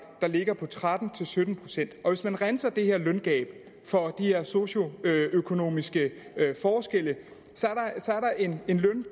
der ligger på tretten til sytten pct og hvis man renser det løngab for de her socioøkonomiske forskelle